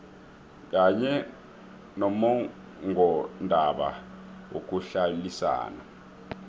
kanye nommongondaba yokuhlalisana